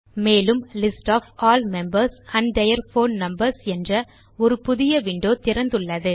மேலும் list of all members and their phone numbers என்ற ஒரு புதிய விண்டோ திறந்துள்ளது